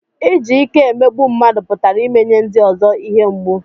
Iji ike emegbu mmadụ pụtara imenye ndị ọzọ ihe mgbu